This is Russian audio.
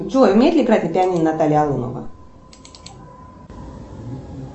джой умеет ли играть на пианино наталья алонова